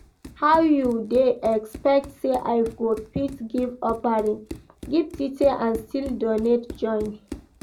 How you dey expect say I go fit give offering, give tithe and still donate join?